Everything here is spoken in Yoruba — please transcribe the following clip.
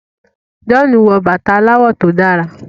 John wò bàtá aláwò tó dára.